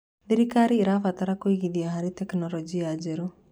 Thirikari ĩrabatara kũigithia harĩ tekinoronjĩ njerũ.